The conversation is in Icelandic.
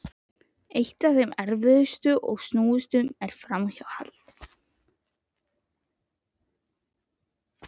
Eitt af þeim erfiðustu og snúnustu er framhjáhald.